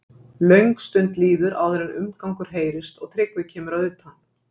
Löng stund líður áður en umgangur heyrist og Tryggvi kemur að utan.